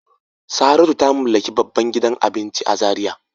Saratu ta mallaki babban gidan abinci a Zaria.